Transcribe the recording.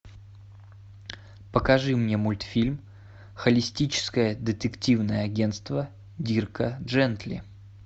покажи мне мультфильм холистическое детективное агентство дирка джентли